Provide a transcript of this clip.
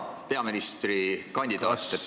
Hea peaministrikandidaat!